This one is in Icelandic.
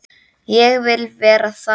Ég vil vera þannig.